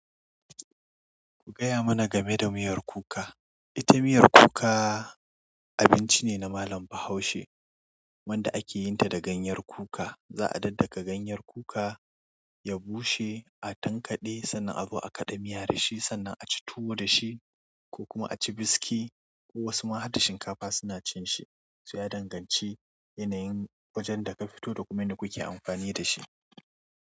Ku gaya mana game da miyar kuka. Ita miyar kuka abinci ne na malam bahaushe wanda ake yin ta da ganyen kuka. Za'a daddaka ganyen kuka, ya bushe, a tanƙade, sannan a zo a kaɗa miya da shi sannan a ci tuwo da shi ko kuma a ci biskiy. Ko wasu ma har da shinkafa suna cin shi. So ya danganci yanayin wajen da ka fito da kuma yadda kuke amfani da shi.